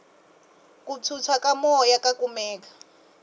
ku phyuphya ka moya ka kumeka